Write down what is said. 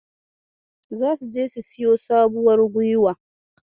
Zasu je su siyo sabuwar guiwa.